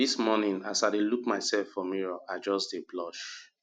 dis morning as i dey look myself for mirror i just dey blush